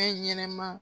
Fɛn ɲɛnɛma